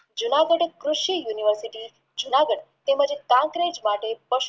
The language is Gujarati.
જૂનાગઢ કૃષિ University જૂનાગઢ તેમજ માટે